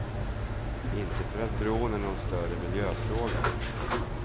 Inte för att bron är någon större miljöfråga.